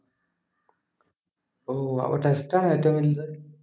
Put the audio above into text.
ഓഹ് അപ്പം test ആണോ ഏറ്റവും വലുത്